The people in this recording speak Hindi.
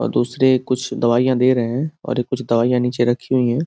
और दुसरे कुछ दवाईयां दे रहे हैं और ये कुछ दवाईयां नीचे रखी हुई हैं।